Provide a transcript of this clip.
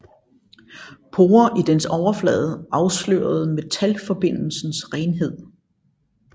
Porer i dens overflade afslørede metalforbindelsens renhed